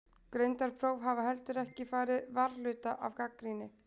Greindarpróf hafa heldur ekki farið varhluta af gagnrýni.